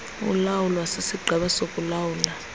ulawulwa sisigqeba sokuulawula